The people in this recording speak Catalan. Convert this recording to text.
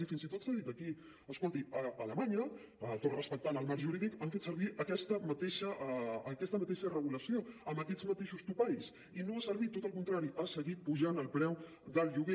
i fins i tot s’ha dit aquí escolti a alemanya tot respectant el marc jurídic han fet servir aquesta mateixa regulació amb aquests mateixos topalls i no ha servit tot al contrari ha seguit pujant el preu del lloguer